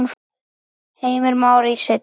Heimir Már: Í senn?